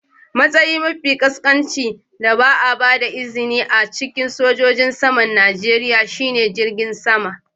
Matsayi mafi ƙasƙanci da ba a ba da izini ba a cikin sojojin saman Najeriya shine jirgin sama.